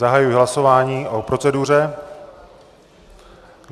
Zahajuji hlasování o proceduře.